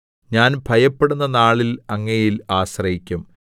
ഞാൻ ഭയപ്പെടുമ്പോൾ നാളിൽ അങ്ങയിൽ ആശ്രയിക്കും